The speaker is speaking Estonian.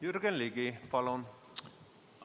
Jürgen Ligi, palun!